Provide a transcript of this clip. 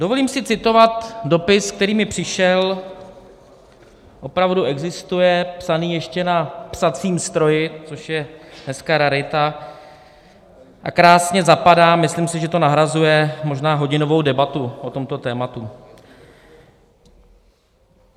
Dovolím si citovat dopis, který mi přišel, opravdu existuje, psaný ještě na psacím stroji, což je dneska rarita, a krásně zapadá - myslím si, že to nahrazuje možná hodinovou debatu o tomto tématu.